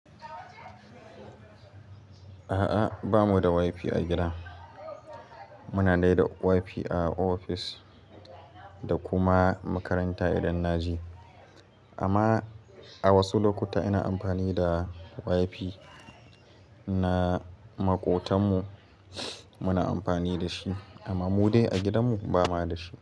A'a, ba mu da WiFi a gida. Muna dai da WiFi a ofis da kuma makaranta idan na je. Amma a wasu lokuta ina amfani da WiFi na maƙotanmu, muna amfani da shi. Amma mu dai a gidanmu ba mua da shi.